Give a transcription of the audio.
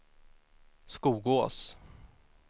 Skogås